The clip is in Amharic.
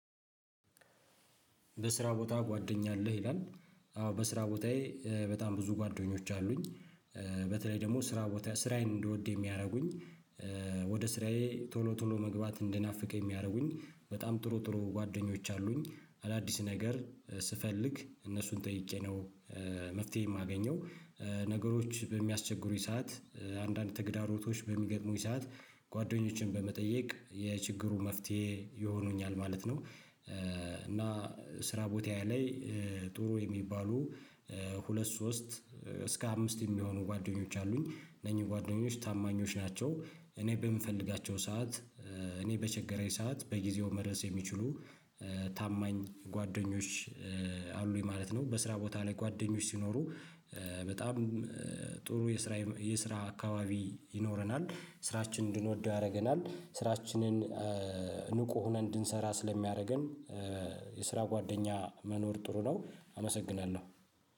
በስራ ቦታ ጓደኛ አለህ ይላል? አዎ በስራ ቦታዬ በጣም ብዙ ጓደኞች አሉኝ። በተለይ ደግሞ ስራ ቦታ ስራዬን እንድወድ የሚያደርጉኝ። ወደ ስራዬ ቶሎ ቶሎ መግባት እንድናፍቅ የሚያደርጉኝ በጣም ጥሩ ጥሩ ጓደኞች አሉኝ። አዳዲስ ነገር ስፈልግ እነሱን ጠይቄ ነው። መፍትሄ የማገኘው። ነገሮች በሚያስቸግሩኝ ሰዓት አንዳንድ ተግዳሮቶች በሚገጥሙኝ ሰዓት ጓደኞችን በመጠየቅ የችግሩ መፍትሄ ይሆኑኛል ማለት ነው። እና ስራ ቦታ ላይ ጥሩ የሚባሉ ሁለት ሶስት እስከ አምስት የሚሆኑ ጓደኞች አሉኝ እነኚህ ጓደኞች ታማኞች ናቸው። እኔ በምፈልጋቸው ሰዓት። እኔ በቸገረኝ ሰዓት በጊዜው መድረስ የሚችሉ ታማኝ ጓደኞች አሉኝ ማለት ነው። በስራ ቦታ ላይ ጓደኞች ሲኖሩ በጣም ጥሩ የስራ የስራ አካባቢ ይኖረናል ስራችንን እንድንወደው ያደርገናል። ስራችንን ንቁ ሆነን እንድንሰራ ስለሚያደርገን። የስራ ጓደኛ መኖር ጥሩ ነው አመሰግናለሁ